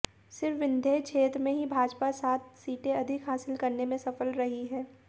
सिर्फ विन्ध्य क्षेत्र में ही भाजपा सात सीटें अधिक हासिल करने में सफल रही है